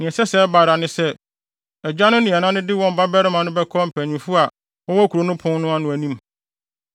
nea ɛsɛ sɛ ɛba ara ne sɛ, agya no ne ɛna no de wɔn babarima no bɛkɔ mpanyimfo a wɔwɔ kurow no pon ano no anim.